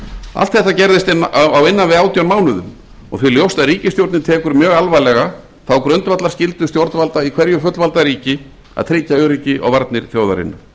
allt þetta gerðist á innan við átján mánuðum og því ljóst að ríkisstjórnin tekur mjög alvarlega þá grundvallarskyldu stjórnvalda í hverju fullvalda ríki að tryggja öryggi og varnir þjóðarinnar